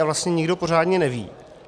A vlastně nikdo pořádně neví.